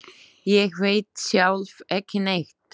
Ég veit sjálf ekki neitt.